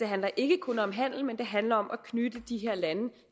handler ikke kun om handel men det handler om at knytte de her lande